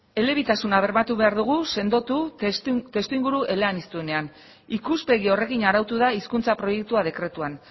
elebitasuna bermatu behar dugu sendotu testuinguru eleanizdunean ikuspegi horrekin arautu da hizkuntza proiektua dekretuan